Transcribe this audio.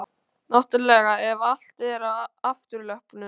Náttúrlega ef allt er á afturlöppunum.